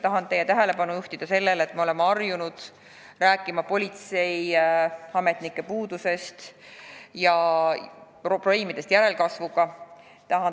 Tahan teie tähelepanu juhtida sellele, et me oleme harjunud rääkima politseiametnike puudusest ja probleemidest järelkasvuga.